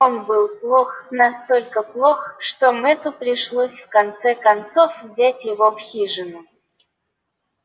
он был плох настолько плох что мэтту пришлось в конце концов взять его в хижину